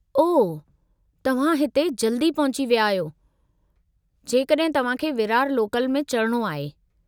ओह , तव्हां त हिते जल्दी पहुची विया आहियो जेकड॒हिं तव्हांखे विरार लोकल में चढ़णो आहे।